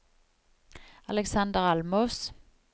Aleksander Almås